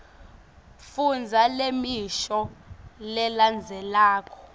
fundza lemisho lelandzelako